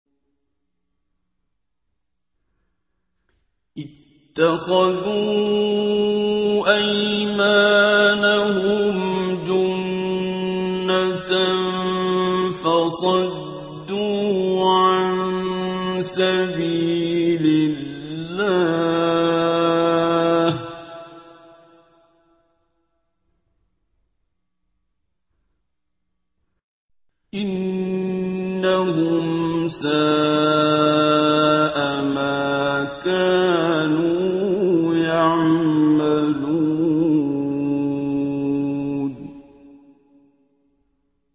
اتَّخَذُوا أَيْمَانَهُمْ جُنَّةً فَصَدُّوا عَن سَبِيلِ اللَّهِ ۚ إِنَّهُمْ سَاءَ مَا كَانُوا يَعْمَلُونَ